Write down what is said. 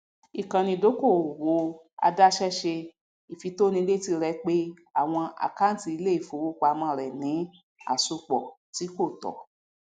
ìkànnì ìdokoowó àdàṣe ṣe ìfítònílẹtí rẹ pé àwọn àkántì ilé ifowopamọ rẹ ní asopọ tí kò tọ